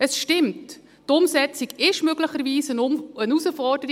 Es stimmt, die Umsetzung ist möglicherweise eine Herausforderung.